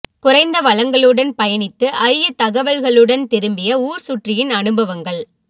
குறைந்த வளங்களுடன் பயணித்து அரிய தகவல்களுடன் திரும்பிய ஊர் சுற்றியின் அனுபவங்கள்